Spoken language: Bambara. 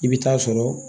I bɛ taa sɔrɔ